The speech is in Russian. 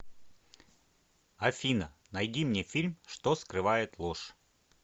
афина найди мне фильм что скрывает ложь